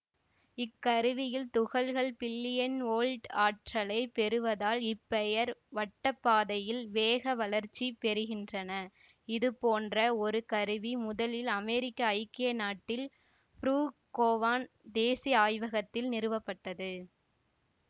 இக்கருவியில் துகள்கள் billion volt ஆற்றலை பெறுவதால் இப்பெயர் வட்டப்பாதையில் வேகவளர்ச்சிப் பெறுகின்றனஇதுபோன்ற ஒரு கருவி முதலில் அமேரிக்க ஐக்கிய நாட்டில் புரூக்கோவன் தேசீய ஆய்வகத்தில் நிறுவப்பட்டது